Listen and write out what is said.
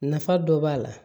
Nafa dɔ b'a la